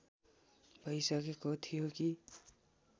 भइसकेको थियो कि